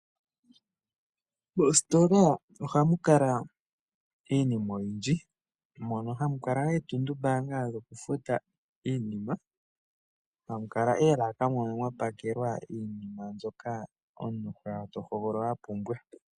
Moositola ohamu kala iinima oyindji mono hamu kala ootundu mbaanga dhoku futa iinima hamu kala oolaka mono hamu kala mwa pakelwa iinima mbyoka omuntu hoya to hogolola shiwa pumbwa.